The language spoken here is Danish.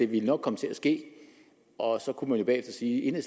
ville komme til at ske og så kunne man jo bagefter sige at